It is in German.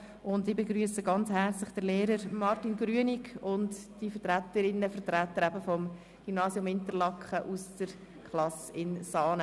Sehr herzlich begrüsse ich den Lehrer Martin Grünig und die Vertreterinnen und Vertreter des Gymnasiums Interlaken aus der Klasse in Saanen.